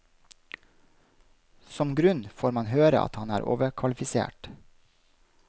Som grunn får han høre at han er overkvalifisert.